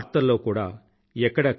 వార్తల్లో కూడా ఎక్కడా కనబడేవారు కాదు